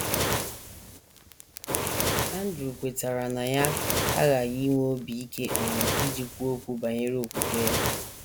Andrew kwetara na ya aghaghị inwe obi ike um iji kwuo okwu banyere okwukwe ya.